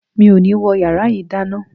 Mi ò ní wọ yàrá yìí dáná.